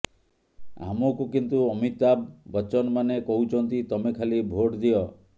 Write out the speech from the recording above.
ଆମକୁ କିନ୍ତୁ ଅମିତାଭ ବଚନମାନେ କହୁଛନ୍ତି ତମେ ଖାଲି ଭୋଟ ଦିଅ